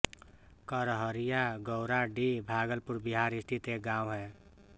करहरिया गौराडीह भागलपुर बिहार स्थित एक गाँव है